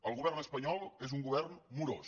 el govern espanyol és un govern morós